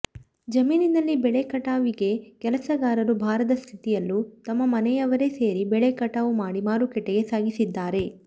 ಜಮೀನಿನಲ್ಲಿ ಬೆಳೆ ಕಟಾವಿಗೆ ಕೆಲಸಗಾರರು ಬಾರದ ಸ್ಥಿತಿಯಲ್ಲೂ ತಮ್ಮ ಮನೆಯವರೇ ಸೇರಿ ಬೆಳೆ ಕಟಾವು ಮಾಡಿ ಮಾರುಕಟ್ಟೆಗೆ ಸಾಗಿಸಿದ್ದಾರೆ